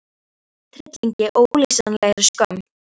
Ég fylltist hryllingi og ólýsanlegri skömm.